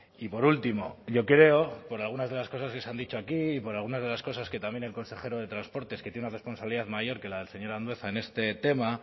y por último yo creo por algunas de las cosas que se han dicho aquí y por algunas de las cosas que también el consejero de transportes que tiene una responsabilidad mayor que la del señor andueza en este tema